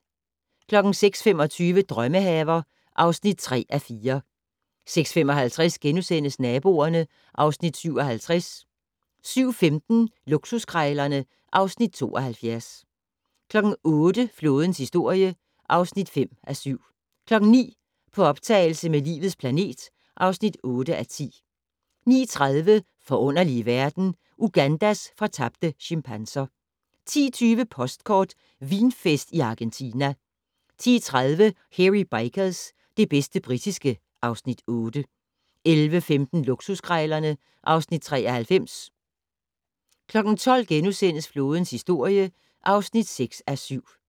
06:25: Drømmehaver (3:4) 06:55: Naboerne (Afs. 57)* 07:15: Luksuskrejlerne (Afs. 72) 08:00: Flådens historie (5:7) 09:00: På optagelse med "Livets planet" (8:10) 09:30: Forunderlige verden - Ugandas fortabte chimpanser 10:20: Postkort: Vinfest i Argentina 10:30: Hairy Bikers - det bedste britiske (Afs. 8) 11:15: Luksuskrejlerne (Afs. 93) 12:00: Flådens historie (6:7)*